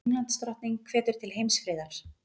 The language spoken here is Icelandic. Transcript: Englandsdrottning hvetur til heimsfriðar